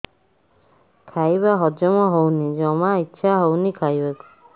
ଖାଇବା ହଜମ ହଉନି ଜମା ଇଛା ହଉନି ଖାଇବାକୁ